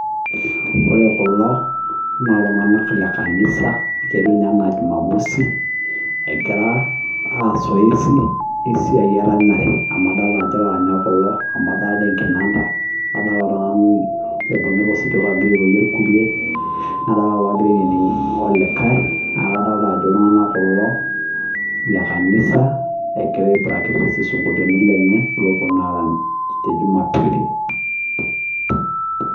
Ore kulo naa iltung'anak le kanisa, ketiu ninye enaa jumamosi egira aas zoezi esiai eranyare amu adolita ajo laranyak kulo amu kadolita enkinanda nadolita oltung'ani oibung'ita osipika ogira airorie irkulie, nadolita iloogira ainining' olikae nakadolita ajo iltung'anak kulo le kanisa egira ai practice isinkolioitin lenye lopwonu aarany te jumapili.